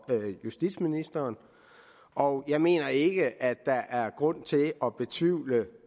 justitsministeren og jeg mener ikke at der er grund til at betvivle